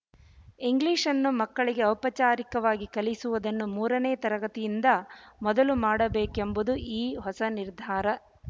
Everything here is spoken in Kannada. ಇಂಗ್ಲಿಶ್‌ನ್ನು ಮಕ್ಕಳಿಗೆ ಔಪಚಾರಿಕವಾಗಿ ಕಲಿಸುವುದನ್ನು ಮೂರನೆಯ ತರಗತಿಯಿಂದ ಮೊದಲು ಮಾಡಬೇಕೆಂಬುದೇ ಈ ಹೊಸ ನಿರ್ಧಾರ